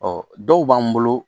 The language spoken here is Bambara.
Ɔ dɔw b'an bolo